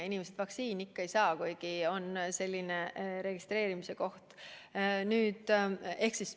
Inimesed vaktsiini ikkagi ei saa, kuigi on registreerimise koht.